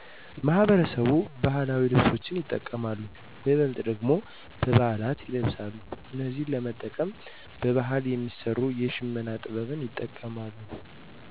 ማህበረሰቡ ባህላዊ ልብሶችን ይጠቀማሉ በይበልጥ ደግሞ በበዓላት ይለበሳሉ እነዚህን ለመጠቀም በባህል የሚሰሩ የሽመና ጥበብ ይጠቀማሉ